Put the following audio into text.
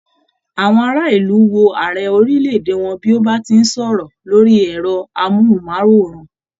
Àwọn ará ìlú wò ààrẹ orílẹ̀-èdè wọn bí o tí n bá wọn sọ̀rọ̀ lórí ẹrọ amohunmaworan.